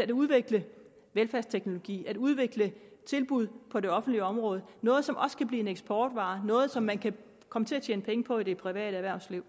at udvikle velfærdsteknologi på at udvikle tilbud på det offentlige område noget som også kan blive en eksportvare noget som man kan komme til at tjene penge på i det private erhvervsliv